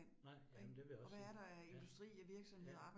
Nej, jamen det vil jeg også sige. Ja, ja